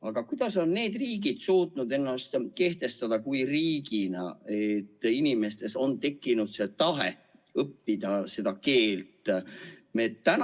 " Aga kuidas on need riigid suutnud ennast kehtestada riigina nii, et inimestes on tekkinud tahe õppida seda keelt?